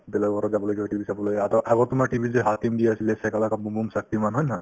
বেলেগৰ ঘৰত যাবলগীয়া হয় TV চাবলৈ আদত~ আগত তোমাৰ TV ত যে hakim দি আছিলে shaka lake boom boom , shaktiman হয়নে নহয়